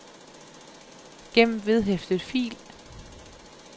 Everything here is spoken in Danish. gem vedhæftet fil